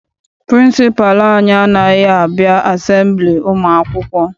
Pịrịnsịpalụ anyị anaghị abịa asembili ụmụ akwụkwọ.